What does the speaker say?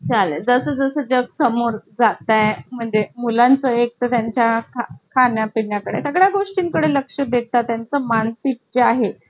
चालेल तसं तसं जर समोर जात आहेत. म्हणजे मुलांचा एक तर त्यांच्या खाण्यापिण्या कडे सगळ्या गोष्टींकडे लक्ष देतात. त्यांचं मानसिक ची आहे